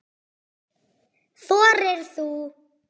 Þorir þú?